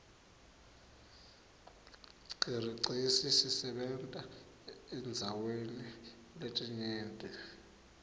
qiriqesi siseberta eiirdzaweri letinyerti